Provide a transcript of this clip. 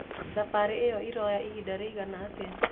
Thabarĩ ĩyo ĩroya ĩhĩnda rĩĩgana atĩa?